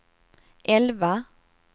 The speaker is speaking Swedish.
elva